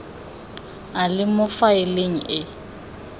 a le mo faeleng e